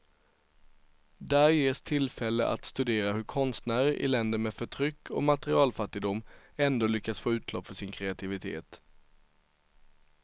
Där ges tillfälle att studera hur konstnärer i länder med förtryck och materialfattigdom ändå lyckas få utlopp för sin kreativitet.